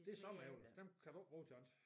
Det sommeræbler dem kan du ikke bruge til andet